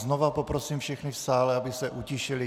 Znova poprosím všechny v sále, aby se utišili.